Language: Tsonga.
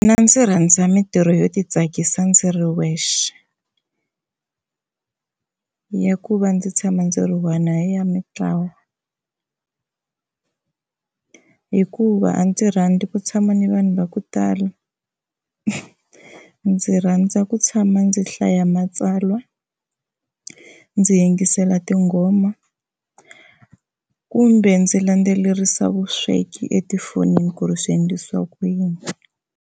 Mina ndzi rhandza mintirho yo titsakisa ndzi ri wexe, ya ku va ndzi tshama ndzi ri one a hi ya mitlawa hikuva a ndzi rhandza ku tshama ni vanhu va ku tala ndzi rhandza ku tshama ndzi hlaya matsalwa ndzi yingisela tinghoma kumbe ndzi landzelerisa vusweki etifonini ku ri swi endlisiwa ku yini